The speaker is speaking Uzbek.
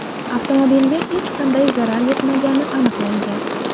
Avtomobilga hech qanday zarar yetmagani aniqlangan.